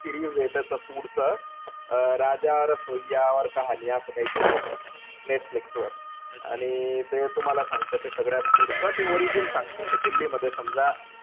Series त्याच food च अं राजा रसोयीया और कहाणी असं काहीतरिये ते. नेटफ्लिक्सवर. आणि ते तुम्हाला सांगत कि सगळ्यात पुढचं ते origin सांगत कि दिल्लीमध्ये समजा,